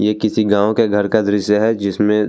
ये किसी गांव के घर का दृश्य है जिसमे --